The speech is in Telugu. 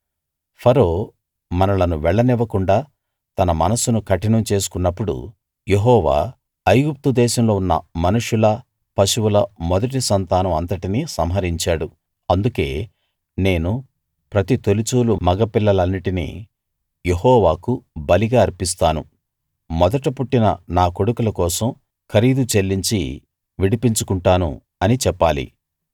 ఫరో మనలను వెళ్ళనివ్వకుండా తన మనస్సును కఠినం చేసుకున్నప్పుడు యెహోవా ఐగుప్తు దేశంలో ఉన్న మనుషుల పశువుల మొదటి సంతానం అంతటినీ సంహరించాడు అందుకే నేను ప్రతి తొలిచూలు మగ పిల్లలన్నిటినీ యెహోవాకు బలిగా అర్పిస్తాను మొదట పుట్టిన నా కొడుకుల కోసం ఖరీదు చెల్లించి విడిపించుకుంటాను అని చెప్పాలి